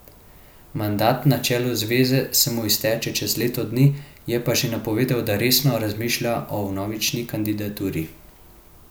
Mandat na čelu zveze se mu izteče čez leto dni, je pa že napovedal, da resno razmišlja o vnovični kandidaturi.